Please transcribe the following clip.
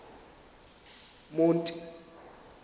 monti